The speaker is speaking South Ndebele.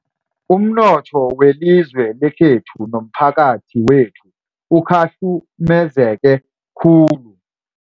Umnotho welizwe lekhethu nomphakathi wethu ukhahlumezeke khulu.